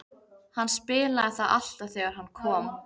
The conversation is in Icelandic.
Hann spilaði það alltaf þegar hann kom.